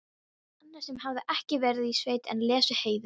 Annar sem hafði ekki verið í sveit en lesið Heiðu: